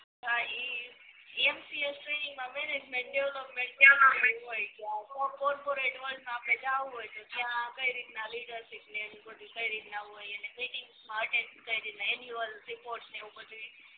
હા M C A training મા management development હોય જ્યા કોર્પોરેટ હોય તો અપડે જવું હોય ત્યાં કઈ રીતના લીડરસીપ ને આવું બધુ કઈ રીતના હોય એની મિટિંગ અટેન્ડ કઈ રીતના એન્યુઅલ રિપોર્ટ ને એવું બધુંય